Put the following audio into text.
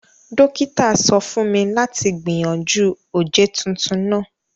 Dókítà sọ fún mi láti gbìyànjú oje tuntun náà